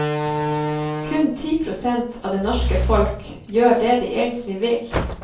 Kun ti prosent av det norske folk gjør det de egentlig vil.